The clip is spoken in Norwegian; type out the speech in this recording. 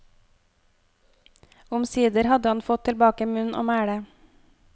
Omsider hadde han fått tilbake munn og mæle.